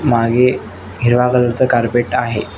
मागे हिरवा कलर च कार्पेट आहे.